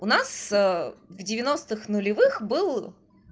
у нас в девяностых нулевых был